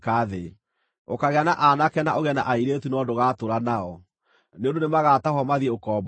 Ũkaagĩa na aanake na ũgĩe na airĩtu no ndũgatũũra nao, nĩ ũndũ nĩmagatahwo mathiĩ ũkombo-inĩ.